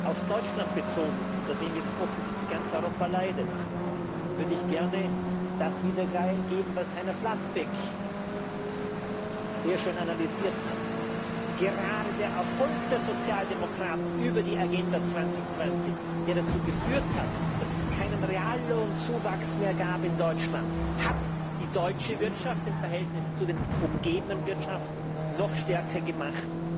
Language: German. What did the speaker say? Auf Deutschland bezogen, unter dem jetzt offensichtlich ganz Europa leidet, würde ich gern das wiedergeben, was Heiner Flassbeck sehr schön analysiert hat Gerade der Erfolg der Sozialdemokraten über die Agenda 2020, der dazu geführt hat, dass es keinen Reallohnzuwachs mehr gab in Deutschland, hat die deutsche Wirtschaft im Verhältnis zu den umgebenden Wirtschaften noch stärker gemacht